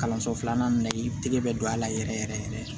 Kalanso filanan na i tɛgɛ bɛ don a la yɛrɛ yɛrɛ yɛrɛ